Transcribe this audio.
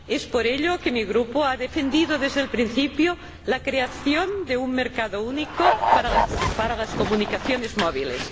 Por ello, mi Grupo ha defendido desde el principio la creación de un mercado único para las comunicaciones móviles.